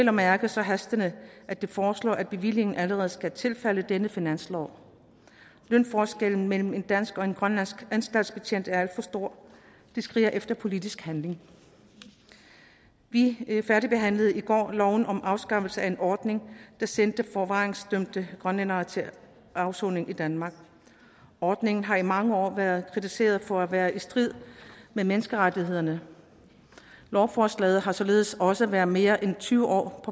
at mærke så hastende at de foreslår at bevillingen allerede skal falde i denne finanslov lønforskellen mellem en dansk og en grønlandsk anstaltsbetjent er for stor det skriger efter politisk handling vi færdigbehandlede i går loven om afskaffelse af en ordning der sendte forvaringsdømte grønlændere til afsoning i danmark ordningen har i mange år været kritiseret for at være i strid med menneskerettighederne lovforslaget har således også været mere end tyve år